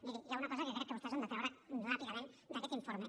miri hi ha una cosa que crec que vostès han de treure ràpidament d’aquest informe